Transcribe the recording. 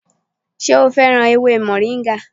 Ṣé o féràn ewé moringa?